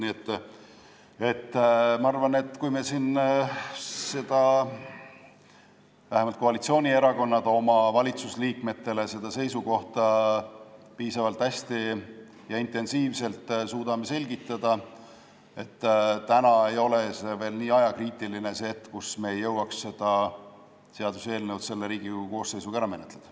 Nii et ma arvan, et kui vähemalt koalitsioonierakonnad valitsusliikmetele seda seisukohta piisavalt hästi ja intensiivselt suudavad selgitada, siis täna ei ole olukord veel nii ajakriitiline, et me ei jõuaks seda seaduseelnõu selle Riigikogu koosseisuga ära menetleda.